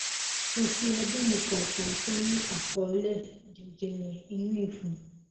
kò sí ẹbí mi kankan tó ní àkọọlẹ jẹjẹre inú ìfun